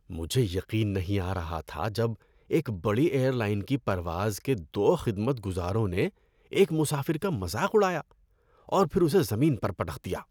مجھے یقین نہیں آ رہا تھا جب ایک بڑی ایئر لائن کی پرواز کے دو خدمت گزاروں نے ایک مسافر کا مذاق اڑایا اور پھر اسے زمین پر پٹخ دیا۔